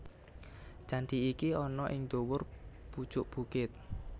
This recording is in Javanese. Candhi iki ana ing dhuwur pucuk bukit